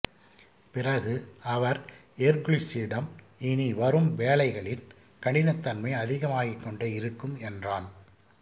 பிறகு அவர் எர்க்குலிசிடம் இனி வரும் வேலைகளின் கடினத்தன்மை அதிகமாகிக் கொண்டே இருக்கும் என்றான்